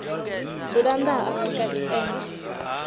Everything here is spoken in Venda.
dzula nnḓa ha afrika tshipembe